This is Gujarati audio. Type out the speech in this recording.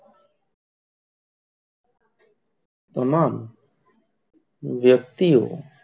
તમામ યક્તિઓ,